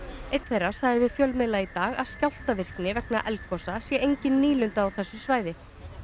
einn þeirra sagði við fjölmiðla í dag að skjálftavirkni vegna eldgosa sé enginn nýlunda á þessu svæði